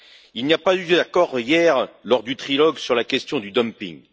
Il n'y a pas eu d'accord, hier, lors du trilogue sur la question du dumping.